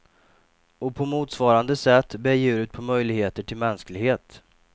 Och på motsvarande sätt bär djuret på möjligheter till mänsklighet.